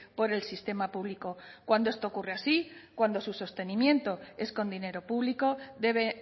por el sistema público cuando esto ocurre así cuando su sostenimiento es con dinero público debe